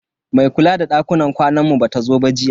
Mai kula da dakunan kwanan mu bata zo ba jiya.